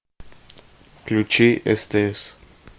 включи стс